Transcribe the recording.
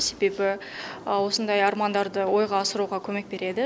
себебі осындай армандарды ойға асыруға көмек береді